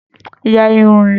Ya irun rẹ.